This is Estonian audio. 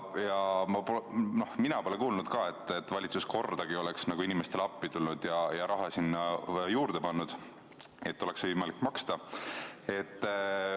Ja mina pole kuulnud ka, et valitsus kordagi oleks inimestele appi tulnud ja raha sinna juurde pannud, et oleks võimalik maksta.